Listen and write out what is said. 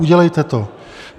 Udělejte to.